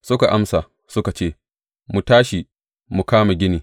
Suka amsa, suka ce, Mu tashi, mu kama gini.